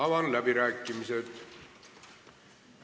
Avan läbirääkimised.